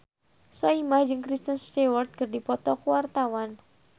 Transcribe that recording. Soimah jeung Kristen Stewart keur dipoto ku wartawan